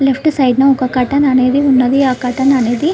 Left side న ఒక curtain అనేది ఉన్నది ఆ కర్టన్ అనేది.